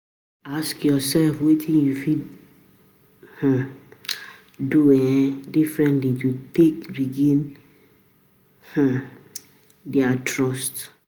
Ask yourself wetin you fit um do um differently to take regain um di trust